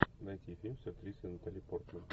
найти фильм с актрисой натали портман